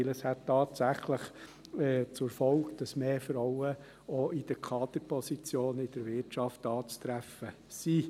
Denn es hätte tatsächlich zur Folge, dass mehr Frauen auch in den Kaderpositionen der Wirtschaft anzutreffen sind.